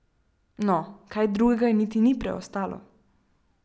No, kaj drugega ji niti ni preostalo!